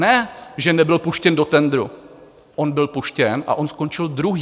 Ne že nebyl puštěn do tendru, on byl puštěn a on skončil druhý.